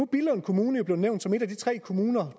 billund kommune jo blevet nævnt som en af de tre kommuner